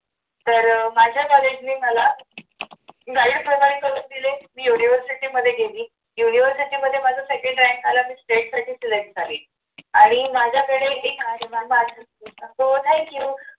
तर अह माझ्या कॉलेजने मला live सहकार्य करून दिले मी university मध्ये गेली. university मध्ये माझं second rank आला मी state साठी select झाली आणि माझ्याकडे एक हो thank you